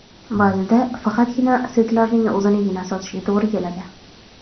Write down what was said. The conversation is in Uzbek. Ba’zida faqatgina setlarning o‘zinigina sotishga to‘g‘ri keladi.